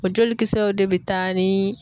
O jolikisɛw de bɛ taa ni